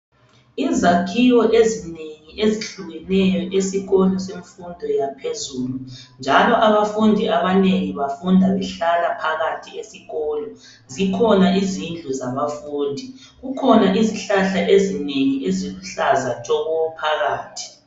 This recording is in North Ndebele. Izakhiwo ezinengi ezehlukeneyo esikolo semfundo yaphezulu, njalo abafundi abanengi bafunda behlala phakathi esikolo. Zikhona izindlu zabafundi. Kukhona izihlahla ezinengi, eziluhlaza tshoko! Phakathi.